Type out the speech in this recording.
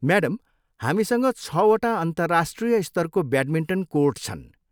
Madam, हामीसँग छवटा अन्तर्राष्ट्रिय स्तरको ब्याटमिन्टन कोर्ट छन्।